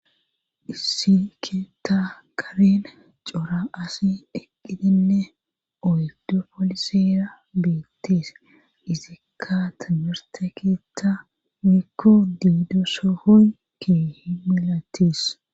isi keeta karen cora asi eqqidinne oydu polisira bettes izikka timerteketa mikko diido sohoy kee himilatis